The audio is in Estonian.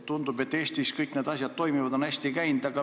Tundub, et Eestis on kõik need asjad hästi toiminud.